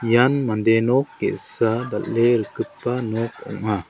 ian mande nok ge·sa dal·e rikgipa nok ong·a.